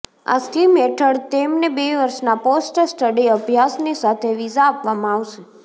આ સ્કીમ હેઠળ તેમને બે વર્ષના પોસ્ટ સ્ટડી અભ્યાસની સાથે વિઝા આપવામાં આવશે